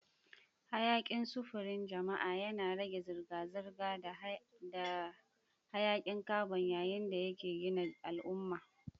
Harkokin sufurin jama'a yana rage zirga-zirga da hayakin carbon yayin da yake gina al'umma.